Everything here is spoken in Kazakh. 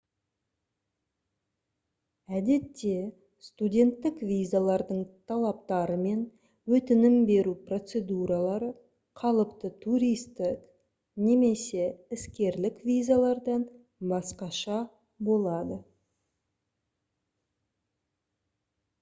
әдетте студенттік визалардың талаптары мен өтінім беру процедуралары қалыпты туристік немесе іскерлік визалардан басқаша болады